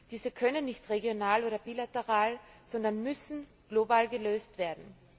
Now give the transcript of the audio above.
Diese Probleme können nicht regional oder bilateral, sondern müssen global gelöst werden.